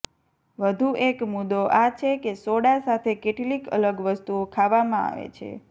વધુ એક મુદ્દો આ છે કે સોડા સાથે કેટલીક અલગ વસ્તુઓ ખાવામાં આવે છે